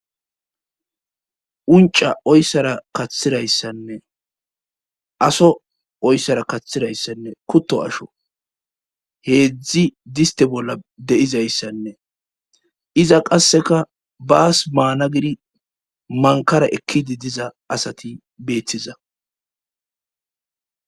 unca oyssara kaththirayssanne aso oyssara kathtirayssanne kutto asho heedzdzi diste bolla deizayssanne iza qasseka baas maana gidi mankara ekkidi diza asati beettiza